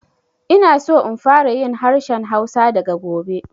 Ina so in fara yin harshen Hausa daga gobe